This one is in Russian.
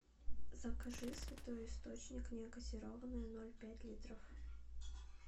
закажи святой источник негазированная ноль пять литров